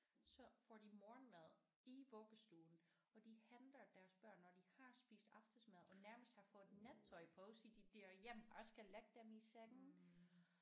Så får de morgenmad i vuggestuen og de henter deres børn når de har spist aftensmad og nærmest har fået nattøj på så de der bare skal lægge dem i seng